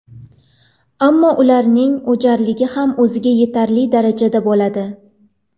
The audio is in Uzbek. Ammo ularning o‘jarligi ham o‘ziga yetarli darajada bo‘ladi.